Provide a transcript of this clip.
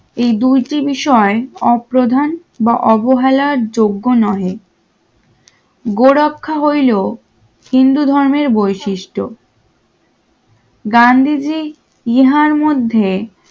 এই দুইটি বিষয় অপ্রধান বা অবহেলার যোগ্য নয় হিন্দু ধর্মের বৈশিষ্ট্য গান্ধীজি ইহার মধ্যে